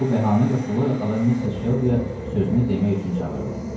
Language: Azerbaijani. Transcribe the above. Bu bəhanə ilə Xloya xala Missis Şelbi-yə sözünü demək üçün çağırdı.